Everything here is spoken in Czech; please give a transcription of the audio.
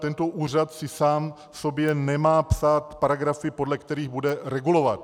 Tento úřad si sám sobě nemá psát paragrafy, podle kterých bude regulovat.